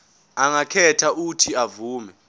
angakhetha uuthi avume